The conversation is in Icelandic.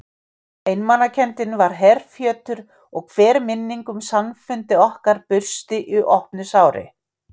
Einmanakenndin var herfjötur og hver minning um samfundi okkar bursti í opnu sári.